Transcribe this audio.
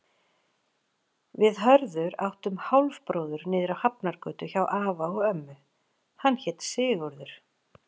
Við Hörður áttum hálfbróður niðri á Hafnargötu hjá afa og ömmu, hann hét Sigurður.